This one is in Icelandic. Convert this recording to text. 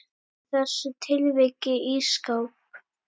Í þessu tilviki ísskáp.